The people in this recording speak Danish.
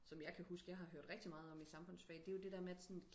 som jeg kan huske jeg har hørt rigtig meget om i samfundfundsfag det er det der med at sådan